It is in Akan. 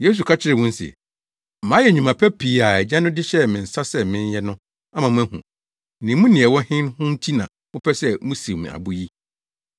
Yesu ka kyerɛɛ wɔn se, “Mayɛ nnwuma pa pii a Agya no de hyɛɛ me nsa sɛ menyɛ no ama moahu, na emu nea ɛwɔ he ho nti na mopɛ sɛ musiw me abo yi?”